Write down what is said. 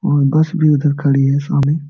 और बस भी उधर खड़ी है सामने।